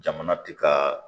Jamana ti ka